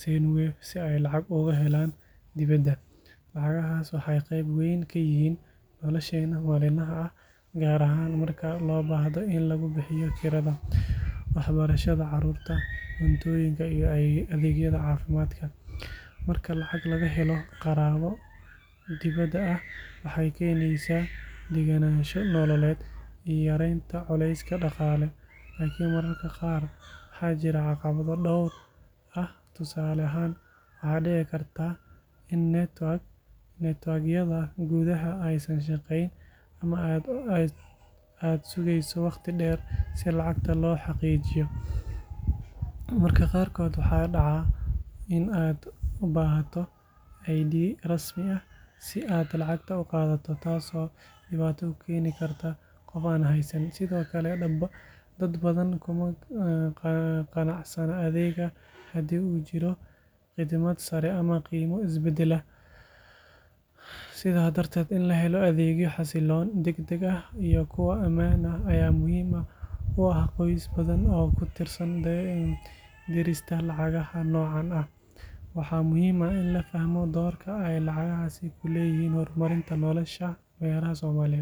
Sendwave si ay lacag uga helaan dibadda. Lacagahaas waxay qayb weyn ka yihiin nolosheena maalinlaha ah, gaar ahaan marka loo baahdo in lagu bixiyo kirada, waxbarashada carruurta, cuntooyinka iyo adeegyada caafimaadka. Marka lacag laga helo qaraabo dibadda jooga, waxay keenaysaa degganaansho nololeed iyo yareynta culayska dhaqaale. Laakiin mararka qaar waxaa jira caqabado dhowr ah. Tusaale ahaan, waxaa dhici karta in network-yada gudaha aysan shaqayn, ama aad sugeyso waqti dheer si lacagta loo xaqiijiyo. Mararka qaarkood waxaa dhaca in aad u baahato ID rasmi ah si aad lacagta u qaadato, taasoo dhibaato u keeni karta qof aan haysan. Sidoo kale, dad badan kuma qanacsana adeegga haddii uu jiro khidmad sare ama qiimo isbedbeddela. Sidaa darteed, in la helo adeegyo xasiloon, degdeg ah, iyo kuwo ammaan ah ayaa muhiim u ah qoysas badan oo ku tiirsan dirista lacagaha noocan ah. Waxaa muhiim ah in la fahmo doorka ay lacagahaasi ku leeyihiin horumarinta nolosha reeraha Soomaaliyeed.